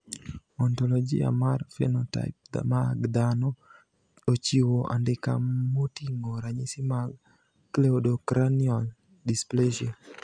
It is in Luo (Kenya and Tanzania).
Ontologia mar phenotype mag dhano ochiwo andika moting`o ranyisi mag Cleidocranial dysplasia.